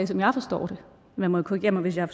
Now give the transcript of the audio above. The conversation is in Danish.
som jeg forstår det man må korrigere mig hvis jeg